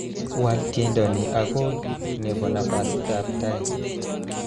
Wal tiendo ni akoy nebo nafasitab tai